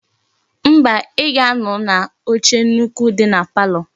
Nwatakiri ahụ ga ebe akwa ma ọ ga ebe ihe ọkụ ahụ gba ọtọ di